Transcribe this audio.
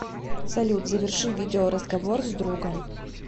салют заверши видео разговор с другом